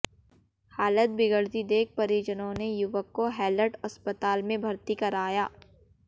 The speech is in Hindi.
हालत बिगड़ती देख परिजनों ने युवक को हैलट अस्पताल में भर्ती कराया